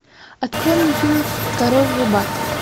открой мне фильм король рыбак